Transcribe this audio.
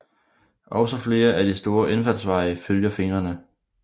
Også flere af de store indfaldsveje følger fingrene